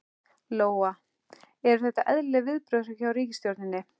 Lóa: Eru þetta eðlileg viðbrögð hjá ríkisstjórninni?